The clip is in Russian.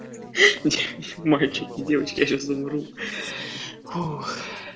ха-ха мальчики девочки я сейчас умру